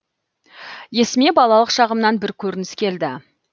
есіме балалық шағымнан бір көрініс келді